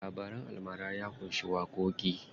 Labaran almara ya ƙunshi waƙoƙi.